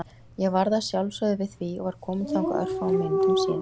Ég varð að sjálfsögðu við því og var kominn þangað örfáum mínútum síðar.